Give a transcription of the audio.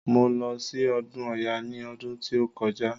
Mo lọ sí ọdún ọya ní ọdún tí ó kọjá.